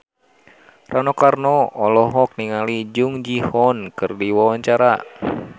Rano Karno olohok ningali Jung Ji Hoon keur diwawancara